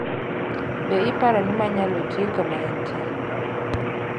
Be iparo ni ma nyalo tie kuma intie